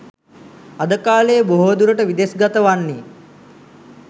අද කාලයේ බොහෝ දුරට විදෙස්ගත වන්නෙ